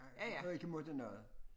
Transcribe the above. Hvor jeg ikke måtte noget